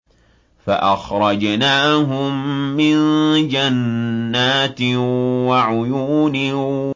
فَأَخْرَجْنَاهُم مِّن جَنَّاتٍ وَعُيُونٍ